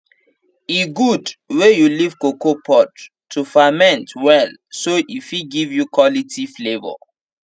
e good wey you leave cocoa pods to ferment well so e fit give you quality flavour